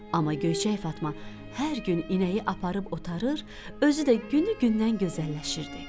Amma Göyçək Fatma hər gün inəyi aparıb otarır, özü də günü-gündən gözəlləşirdi.